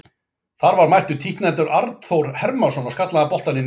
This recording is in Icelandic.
Þar var mættur títtnefndur Arnþór Hermannsson og skallaði hann boltann í netið.